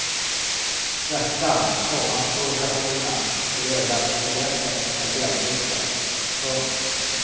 Svärtan, komma provokationerna och de överraskande greppen är sällsynta. punkt